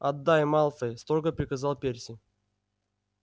отдай малфой строго приказал перси